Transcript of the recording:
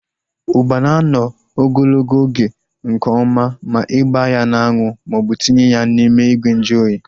Ugba na anọ ogologo oge nke ọma ma ịgba ya n'anwu maọbụ tinye ya n'ime ìgwè nju oyi